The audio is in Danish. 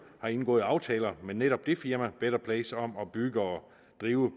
har indgået aftaler med netop det firma better place om at bygge og drive